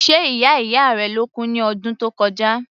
Ṣe ìyá ìyá rẹ ló kú ní ọdún tó kọjá?